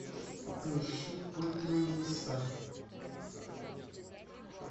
поищи путь на небеса